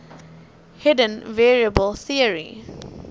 hidden variable theory